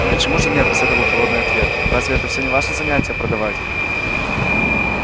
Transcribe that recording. почему же нет последовал холодный ответ разве это всё не ваше занятие продавать